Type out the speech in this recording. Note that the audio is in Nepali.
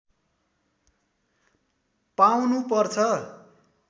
पाउनु पर्छ